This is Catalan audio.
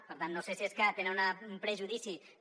per tant no sé si és que tenen un prejudici de